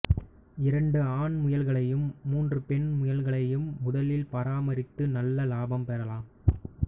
இரண்டு ஆண் முயல்களையும் மூன்று பெண் முயல்களையும் முதலில் பராமரித்து நல்ல இலாபம் பெறலாம்